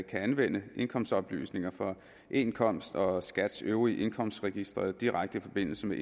anvende indkomstoplysningerne fra eindkomst og skats øvrige indkomstregistre direkte i forbindelse med